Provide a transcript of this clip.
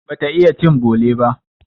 Bata iya cin bole ba.